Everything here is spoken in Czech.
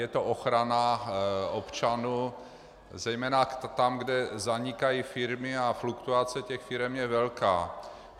Je to ochrana občanů zejména tam, kde zanikají firmy, a fluktuace těch firem je velká.